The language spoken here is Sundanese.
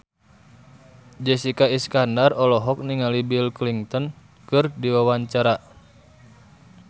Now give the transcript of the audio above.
Jessica Iskandar olohok ningali Bill Clinton keur diwawancara